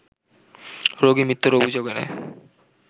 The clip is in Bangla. রোগীর মৃত্যুর অভিযোগ এনে